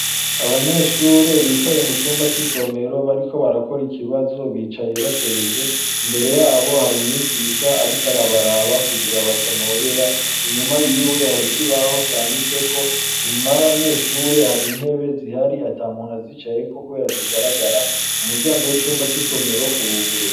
Abanyeshure bicaye mucumba c’isomero bariko barakora ikibazo, bicaye bacereje imbere yabo hari umwigisha ariko arabaraba kugira batanobera, inyuma yiwe hari ikibaho canditseko, inyuma y’abanyeshure hari intebe zihari atamuntu azicayeko kubera zigaragara, umuryango w’icumba c’isomero uruguruye.